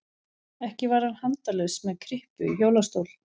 Ekki var hann handalaus með kryppu í hjólastól.